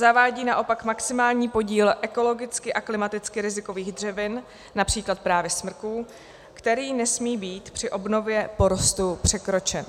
Zavádí naopak maximální podíl ekologicky a klimaticky rizikových dřevin, například právě smrků, který nesmí být při obnově porostu překročen.